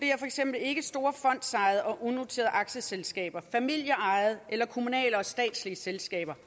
eksempel ikke store fondsejede og unoterede aktieselskaber familieejede eller kommunale og statslige selskaber